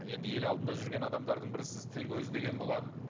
енді ел алдында жүрген адамдардың бірісіз тіл көз деген болады